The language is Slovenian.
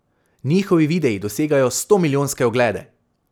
Njihovi videi dosegajo stomilijonske oglede.